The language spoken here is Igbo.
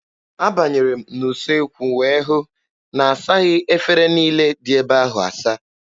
Abanyere m n'usekwu wee hụ na asaghị efere niile dị ebe ahụ asa.